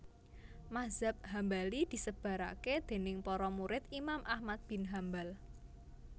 Mazhab Hambali disebaraké déning para murid Imam Ahmad bin Hambal